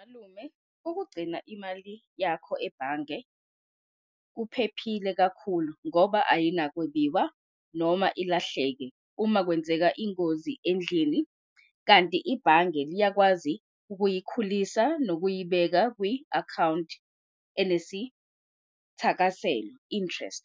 Malume, ukugcina imali yakho ebhange kuphephile kakhulu ngoba ayinakwebiwa noma ilahleke uma kwenzeka ingozi endlini. Kanti ibhange liyakwazi ukuyikhulisa nokuyibeka kwi-akhawunti enesithakaselo, interest.